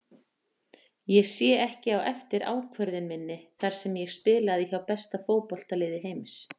Ég sé ekki á eftir ákvörðun minni þar sem ég spilaði hjá besta fótboltaliði heims.